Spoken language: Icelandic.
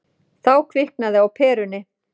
Þá kviknaði á perunni.